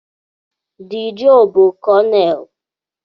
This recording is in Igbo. Dee Joe bụ Kọnel.